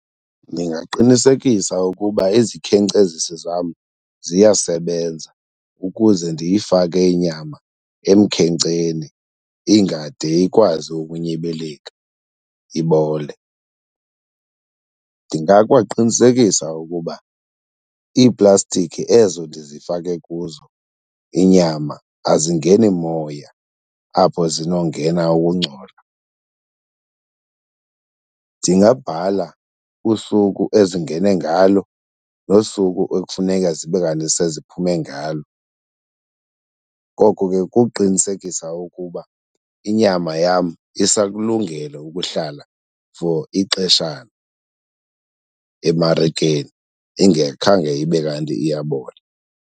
Ndingaqinisekisa ukuba izikhenkcezisi zam ziyasebenza ukuze ndiyifake inyama emkhenkceni ingade ikwazi ukunyibilika ibole. Ndingakwaqinisekisa ukuba iiplastiki ezo ndizifake kuzo inyama azingeni moya apho zinongena ukungcola. Ndingabhala usuku ezingene ngalo nosuku ekufuneka zibe kanti seziphume ngalo. Ngoko ke kukuqinisekisa ukuba inyama yam isakulungele ukuhlala for ixeshana emarikeni ingekhange ibe kanti iyabola.